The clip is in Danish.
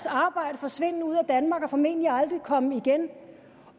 arbejde forsvinde ud af danmark og formentlig aldrig komme igen